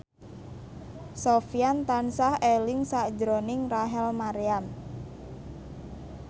Sofyan tansah eling sakjroning Rachel Maryam